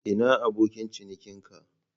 Ina abokin ciniki ka?